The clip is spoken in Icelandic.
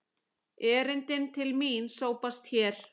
Erindin til mín sópast hér.